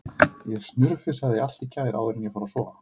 Ég snurfusaði allt í gær áður en ég fór að sofa.